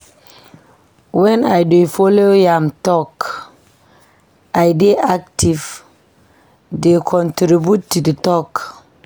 Wen I dey folo am tok, I dey active dey contribute to di talk.